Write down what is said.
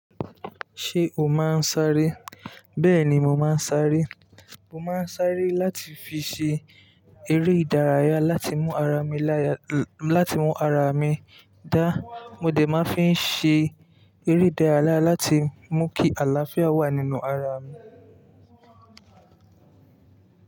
Ṣé o máa ń sáré? Bẹ́ẹ̀ ni, mo máa ń sáré. Mo máa ń sáré láti fi ṣe eré ìdárayá láti mú ara mi láya, láti mú ara mi dá. Mo dè máa ń fi ṣe eré ìdárayá láti mú kí àlàáfíà wà nínú ara mi.